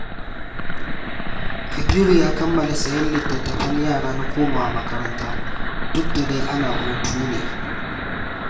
Kabiru ya kammala sayen littattafan yara na komawa makaranta, duk da dai ana hutu ne